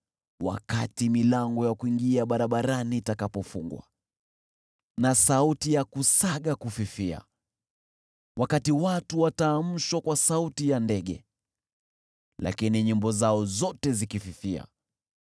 wakati milango ya kuingia barabarani itakapofungwa na sauti ya kusaga kufifia; wakati watu wataamshwa kwa sauti ya ndege, lakini nyimbo zao zote zikififia;